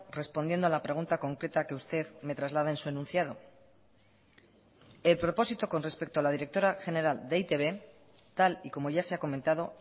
respondiendo a la pregunta concreta que usted me traslada en su enunciado el propósito con respecto a la directora general de e i te be tal y como ya se ha comentado